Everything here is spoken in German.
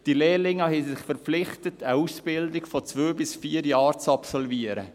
Diese Lehrlinge haben sich verpflichtet, eine Ausbildung von zwei bis vier Jahren zu absolvieren.